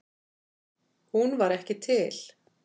Hún var ekki til.